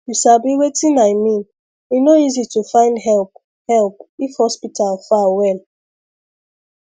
you sabi wetin i mean e no easy to find help help if hospital far well